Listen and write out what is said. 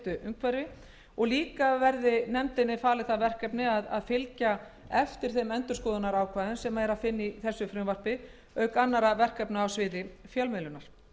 umhverfi og jafnframt að nefndinni verði falið það verkefni að fylgja eftir þeim endurskoðunarákvæðum sem er að finna í frumvarpi þessu auk annarra verkefna á sviði fjölmiðlunar